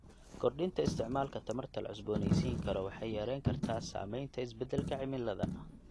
Kordhinta isticmaalka tamarta la cusboonaysiin karo waxay yareyn kartaa saamaynta isbedelka cimilada.